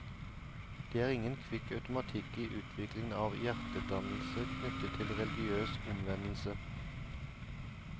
Det er ingen kvikk automatikk i utvikling av hjertedannelse knyttet til religiøs omvendelse.